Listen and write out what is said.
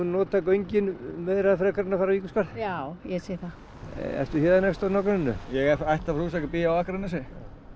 nota göngin meira frekar en að fara Víkurskarð já ég sé það ert þú héðan einhversstaðar úr nágrenninu ég er ættaður frá Húsavík en bý á Akranesi